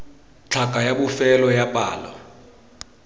tlhaka ya bofelo ya palo